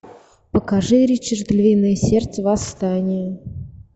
покажи ричард львиное сердце восстание